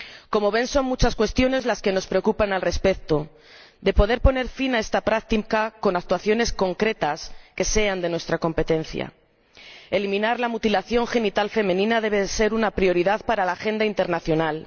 Como ven, son muchas cuestiones las que nos preocupan al respecto de poder poner fin a esta práctica con actuaciones concretas que sean de nuestra competencia. Eliminar la mutilación genital femenina debe ser una prioridad para la agenda internacional.